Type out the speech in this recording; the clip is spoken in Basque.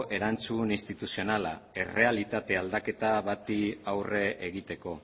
erantzun instituzionala errealitate aldaketa bati aurre egiteko